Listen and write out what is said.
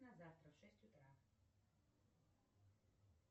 на завтра в шесть утра